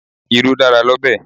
Irú dára l'ọ́bẹ̀.